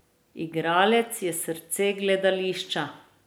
Igralec je srce gledališča.